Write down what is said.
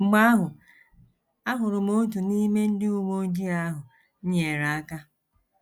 Mgbe ahụ, ahụrụ m otu n’ime ndị uwe ojii ahụ m nyeere aka.